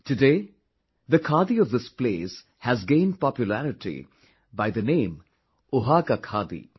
Today the khadi of this place has gained popularity by the name Oaxaca khaadi